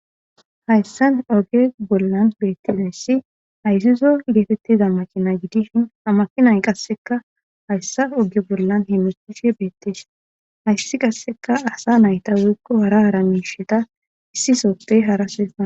hayssan oge bollan beettizayssi hayssizo geetettiza macina gidishin amakinay qasseka hayssa oge bollan he mesishe beettees hayssi qasseka asa nayta woikko hara hara misheta issi sooppey haraseaa